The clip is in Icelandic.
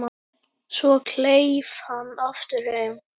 Svo kleif hann aftur heim.